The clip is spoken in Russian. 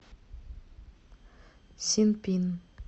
синпин